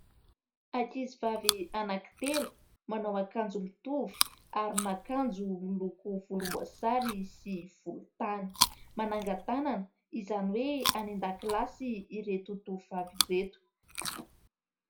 Ankizivavy anankitelo manao akanjo mitovy, aron'akanjo miloko volomboasary sy volontany. Mananga-tanana, izany hoe any an-dakilasy ireto tovovavy ireto.